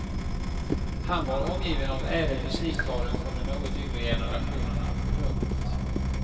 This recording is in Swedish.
Han var omgiven av ädel musikadel från de något yngre generationerna. punkt